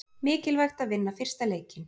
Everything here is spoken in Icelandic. Mikilvægt að vinna fyrsta leikinn